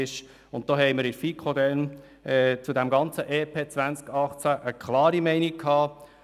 Wir hatten in der FiKo im Rahmen des EP 18 eine klare Meinung dazu.